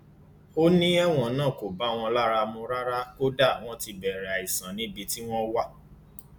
ó ní ẹwọn náà kò bá wọn lára mu rárá kódà wọn ti bẹrẹ àìsàn níbi tí wọn wà